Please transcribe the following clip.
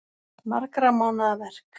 Margra mánaða verk